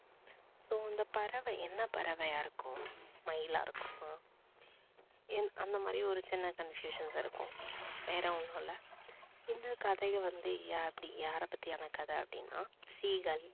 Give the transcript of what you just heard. so இந்தப் பறவை என்ன பறவையா இருக்கும்? மயிலா இருக்குமா? அந்த மாதிரி ஒரு சின் confusions இருக்கும். வேற ஒன்னும் இல்ல. இந்த கதைய வந்து யாரப் பற்றியான கதை அப்படின்னா seegal